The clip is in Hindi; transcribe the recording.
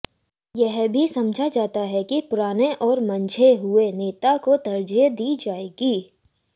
यह भी समझा जाता है कि पुराने और मंझे हुए नेता को तरज़ीह दी जाएगी